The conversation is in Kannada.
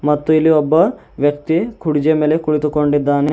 ಮತ್ತು ಇಲ್ಲಿ ಒಬ್ಬ ವ್ಯಕ್ತಿ ಕೊಡುಜಿಯ ಮೇಲೆ ಕುಳಿತುಕೊಂಡಿದ್ದಾನೆ.